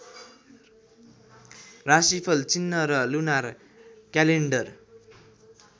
राशिफल चिह्न र लुनार क्यालेन्डर